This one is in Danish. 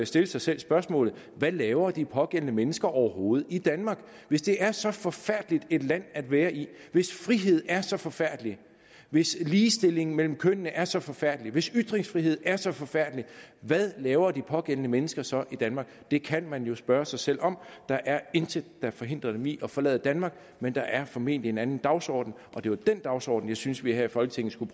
stille sig selv spørgsmålet hvad laver de pågældende mennesker overhovedet i danmark hvis det er så forfærdeligt et land at være i hvis frihed er så forfærdelig hvis ligestilling mellem kønnene er så forfærdelig hvis ytringsfrihed er så forfærdelig hvad laver de pågældende mennesker så i danmark det kan man spørge sig selv om der er intet der forhindrer dem i at forlade danmark men der er formentlig en anden dagsorden og det var den dagsorden jeg synes vi her i folketinget skulle